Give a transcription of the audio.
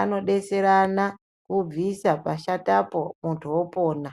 ano detserana vobvisa pashatapo muntu opona.